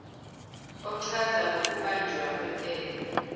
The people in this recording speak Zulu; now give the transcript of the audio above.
ochaza ngokubanjwa kwentela